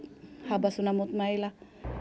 að mótmæla